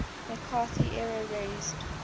mccarthy era raised